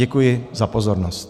Děkuji za pozornost.